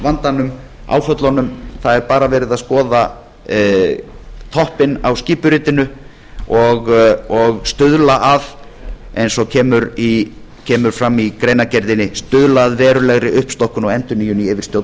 fjármálavandanum áföllunum það er bara verið að skoða þáttinn á skipuritinu og stuðla að eins og kemur fram í greinargerðinni stuðla að verulegri uppstokkun eins og kemur fram í greinargerðinni stuðla að verulegri uppstokkun í yfirstjórn